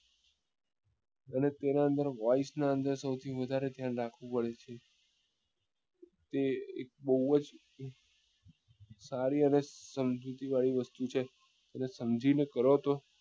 અને તેના અંદર નું સૌથી વધારે ધ્યાન રાખવું પડે છે તે એક બઉ જ સારી અને સમજુતી વાળી વસ્તુ છે અને સમજી ને કરો તો